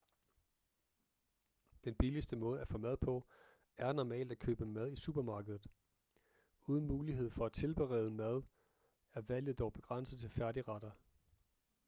den billigste måde at få mad på er normalt at købe mad i supermarkedet uden mulighed for at tilberede mad er valget dog begrænset til færdigretter